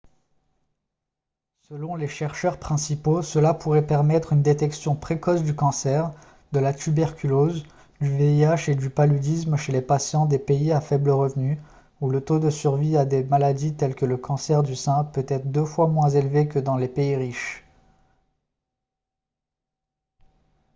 selon les chercheurs principaux cela pourrait permettre une détection précoce du cancer de la tuberculose du vih et du paludisme chez les patients des pays à faible revenu où le taux de survie à des maladies telles que le cancer du sein peut être deux fois moins élevé que dans les pays riches